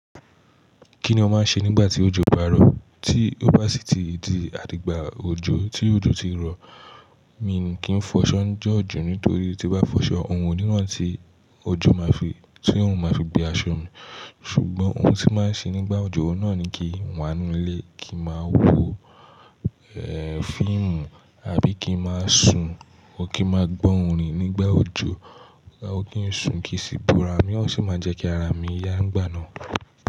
Kí ni o máa ń ṣe nígbà tí ojú bá rọ̀? Tí ó bá sí ti dí àdígba ojo tí òjò ti n rọ̀, mi n kì n fọṣọ njọ̀ ojo nítorí tí n bá fọṣọ, oorun oní rán tí ojo máa fi, tí òorun máa fi gbé aṣọ mi. Ṣùgbọ́n ohun tí máa ń ṣe nígbà ojo ohun náà ni kí n wá n nù ilé, kí n máa wo ehh fíìmù àbí kí n máa sùn, or kí n máa gbọ́ orin nígbà ojo, kí n sùn kí n sì búra mí ó sì máa n jẹ́ kí ara mi yá ngba nàa.